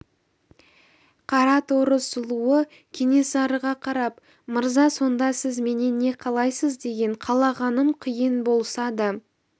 қара торы сұлуы кенесарыға қарап мырза сонда сіз менен не қалайсыз деген қалағаным қиын болса да